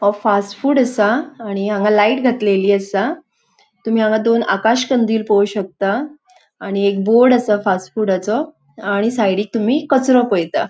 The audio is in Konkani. वो फास्ट फूड असा आणि हांगा लाइट घातलेली असा तुमि हांगा दोन आकाश कन्दिल पोळो शकता आणि एक बोर्ड असा फास्ट फूडाचो आणि साइडिक तुमि कचरो पळेता.